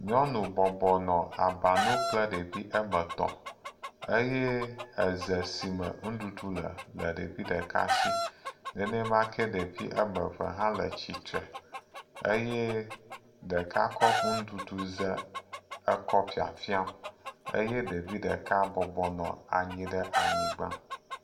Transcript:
Nyɔnu bɔbɔnɔ aba nu kple ɖevi woame etɔ̃ eye exe si me nuɖuɖu le la le ɖevi ɖeka si nenemake ɖevi woame eve hã le tsitre eye ɖeka kɔ enuɖuɖuxe kɔ le fiafim eye ɖevi ɖe bɔbɔnɔ anyigba.